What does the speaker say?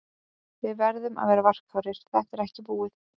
Við verðum að vera varkárir, þetta er ekki búið.